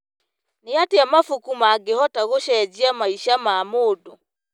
Nĩ atĩa mabuku mangĩhota gũcenjia maica ma mũndũ?